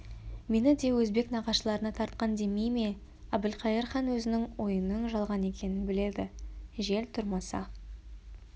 мені де өзбек нағашыларына тартқан демей ме әбілқайыр хан өзінің ойының жалған екенін біледі жел тұрмаса